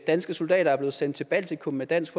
danske soldater er blevet sendt til baltikum med dansk